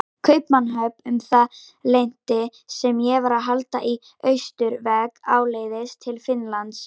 Kaupmannahöfn um það leyti sem ég var að halda í austurveg áleiðis til Finnlands.